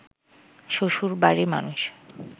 শ্বশুরবাড়ির মানুষ